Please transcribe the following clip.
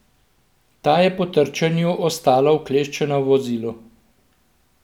Ta je po trčenju ostala ukleščena v vozilu.